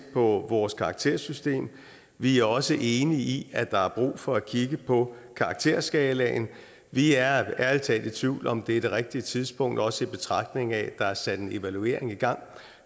på vores karaktersystem vi er også enige i at der er brug for at kigge på karakterskalaen vi er ærlig talt i tvivl om om det er det rigtige tidspunkt også i betragtning af at der er sat en evaluering i gang